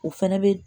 O fɛnɛ bɛ